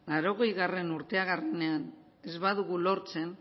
laurogeigarrena urteurrenean ez badugu lortzen